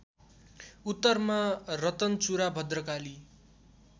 उत्तरमा रतनचुरा भद्रकाली